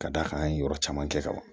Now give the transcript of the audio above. Ka d'a kan an ye yɔrɔ caman kɛ kaban